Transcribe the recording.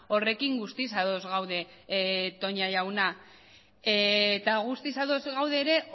horrekin guztiz ados gaude toña jauna eta guztiz ados gaude ere